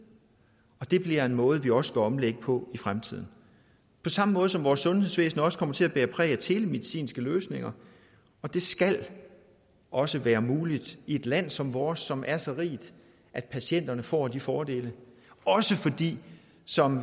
og det bliver en måde vi også skal omlægge på i fremtiden på samme måde som vores sundhedsvæsen også kommer til at bære præg af telemedicinske løsninger og det skal også være muligt i et land som vores som er så rigt at patienterne får de fordele også fordi som